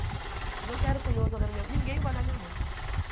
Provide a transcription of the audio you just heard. Falei, não quero curioso olhando minha, ninguém vai olhar minha mãe.